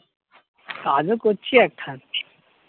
কাজ ও করছি আর খাচ্ছি